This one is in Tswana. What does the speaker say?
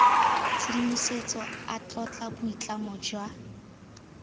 tshedimosetso a tlotla boitlamo jwa